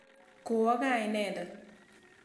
Kowo kaa inendet.